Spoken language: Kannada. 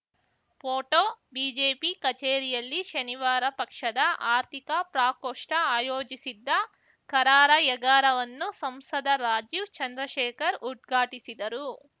ಫೋಟೋ ಬಿಜೆಪಿ ಕಚೇರಿಯಲ್ಲಿ ಶನಿವಾರ ಪಕ್ಷದ ಆರ್ಥಿಕ ಪ್ರಾಕೋಷ್ಠ ಆಯೋಜಿಸಿದ್ದ ಕಾರಾರ‍ಯಗಾರವನ್ನು ಸಂಸದ ರಾಜೀವ್‌ ಚಂದ್ರಶೇಖರ್‌ ಉದ್ಘಾಟಿಸಿದರು